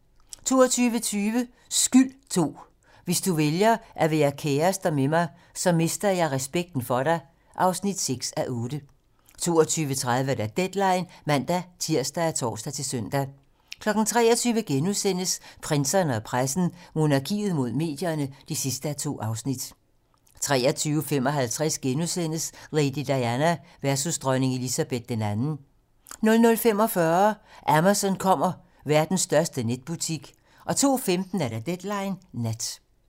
22:20: Skyld II - Hvis du vælger at være kærester med mig, så mister jeg respekten for dig (6:8) 22:30: Deadline (man-tir og tor-søn) 23:00: Prinserne og pressen - Monarkiet mod medierne (2:2)* 23:55: Lady Diana versus dronning Elizabeth II * 00:45: Amazon kommer - verdens største netbutik 02:15: Deadline nat